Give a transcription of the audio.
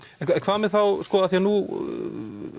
en hvað með þá sko nú